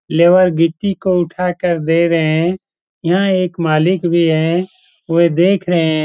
Labour गिट्टी को उठा कर दे रहे हैं यहां एक मालिक भी हैं वे देख रहे हैं।